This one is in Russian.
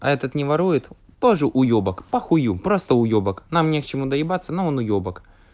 а этот не ворует тоже уебок похую просто уебок нам не к чему доебаться но он уебок